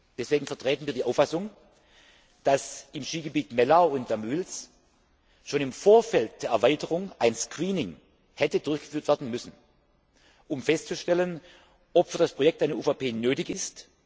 Deswegen vertreten wir die Auffassung, dass im Skigebiet Mellau Damüls schon im Vorfeld der Erweiterung ein Screening hätte durchgeführt werden müssen, um festzustellen, ob für das Projekt eine UVP nötig ist.